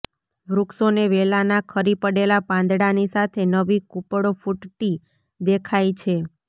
વૃક્ષો ને વેલાના ખરી પડેલાં પાંદડાંની સાથે નવી કૂપળો ફૂટતી દેખાય છે